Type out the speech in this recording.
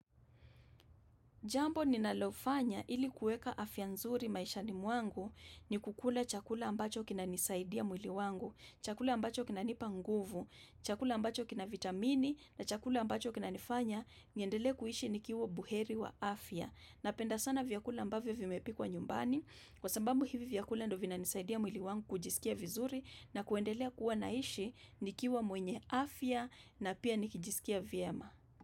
Jambo ninalofanya ili kuweka afya nzuri maishani mwangu ni kukula chakula ambacho kinanisaidia mwili wangu, chakula ambacho kinanipa nguvu, chakula ambacho kina vitamini na chakula ambacho kinanifanya, niendele kuishi nikiwa buheri wa afya. Napenda sana vyakula ambavyo vimepikwa nyumbani kwa sababu hivi vyakula ndo vina nisaidia mwili wangu kujisikia vizuri na kuendelea kuwa naishi ni kiwa mwenye afya na pia nikijisikia viyama.